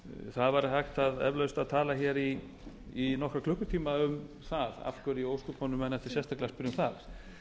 það væri hægt eflaust að tala hér í nokkra klukkutíma um það af hverju í ósköpunum menn ættu sérstaklega að